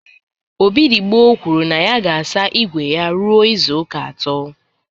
Obidigbo kwuru na ya ga-asa igwe igwe ya ruo izuụka atọ